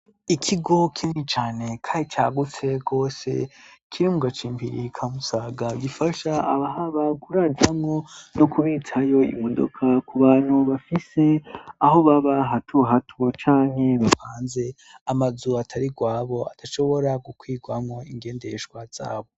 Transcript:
Ikigo kini cane kandi cagutse gose kiri mugacimbiri ka Musaga gifasha abahaba kuraramwo no kubitsayo imodoka ku bantu bafise aho baba hato hato cane bapanze amazu atari gwabo adashobora gukwigwamwo ingendeshwa zabo